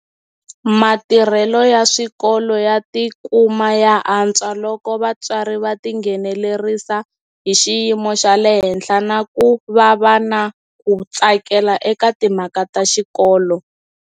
Matirhelo ya swikolo ya ti kuma ya antswa loko vatswari va ti nghenelerisa hi xiyimo xa le henhla na ku va va na ku tsakela eka timhaka ta xikolo.